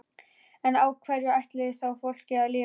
En á hverju ætlarðu þá fólkinu að lifa?